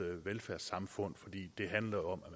velfærdssamfund for